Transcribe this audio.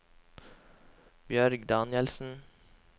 Bjørg Danielsen